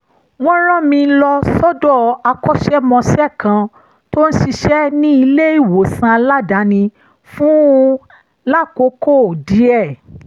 wọ́n rán mi lọ sọ́dọ̀ akọ́ṣẹ́mọṣẹ́ kan tó ń ṣiṣẹ́ ní ilé-ìwòsàn aládàání fún lákòókò díẹ̀